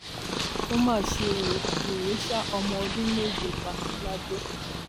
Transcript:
ó máṣe ó wèrè sá ọmọ ọdún méje pa lado